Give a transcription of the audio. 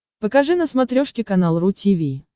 покажи на смотрешке канал ру ти ви